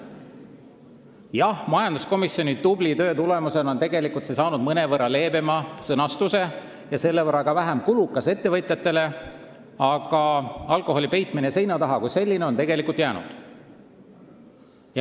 Jah, majanduskomisjoni tubli töö tulemusena on see säte saanud mõnevõrra leebema sõnastuse ja on selle võrra ka ettevõtjatele vähem kulukas, aga alkoholi peitmine seina taha kui selline on alles jäänud.